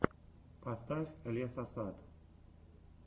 поставь лесосад